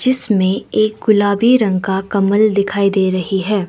जिसमें एक गुलाबी रंग का कमल दिखाई दे रही है।